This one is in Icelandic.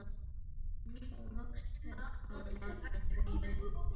Nú voru loks tök á að láta drauminn rætast.